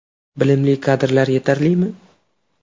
Bilimli kadrlar yetarlimi?